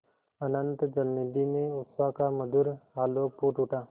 अनंत जलनिधि में उषा का मधुर आलोक फूट उठा